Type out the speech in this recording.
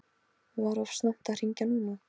Var of snemmt að hringja núna?